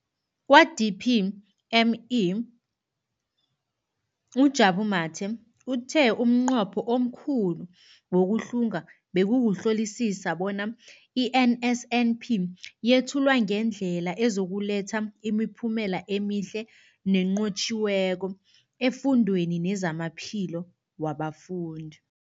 Kwa-DPME, uJabu Mathe, uthe umnqopho omkhulu wokuhlunga bekukuhlolisisa bona i-NSNP yethulwa ngendlela ezokuletha imiphumela emihle nenqotjhiweko efundweni nezamaphilo wabafundi.